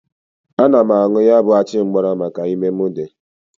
Ana m añụ ya bụ achịmgbara maka ime mụ dị.